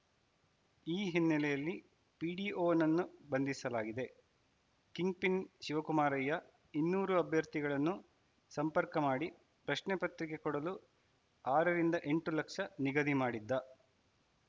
ಈ ಹಿನ್ನೆಲೆಯಲ್ಲಿ ಪಿಡಿಒನನ್ನು ಬಂಧಿಸಲಾಗಿದೆ ಕಿಂಗ್‌ಪಿನ್‌ ಶಿವಕುಮಾರಯ್ಯ ಇನ್ನೂರು ಅಭ್ಯರ್ಥಿಗಳನ್ನು ಸಂಪರ್ಕ ಮಾಡಿ ಪ್ರಶ್ನೆ ಪತ್ರಿಕೆ ಕೊಡಲು ಆರರಿಂದ ಎಂಟು ಲಕ್ಷ ನಿಗದಿ ಮಾಡಿದ್ದ